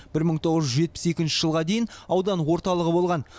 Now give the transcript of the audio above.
бір мың тоғыз жүз жетпіс екінші жылға дейін аудан орталығы болған